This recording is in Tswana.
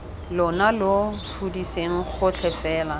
lona lo fudiseng gotlhe fela